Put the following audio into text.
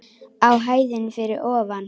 Á hæðinni fyrir ofan.